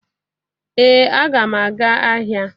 ee a ga m aga ahia